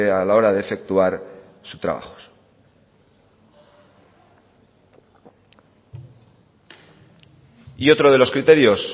a la hora de efectuar su trabajo y otro de los criterios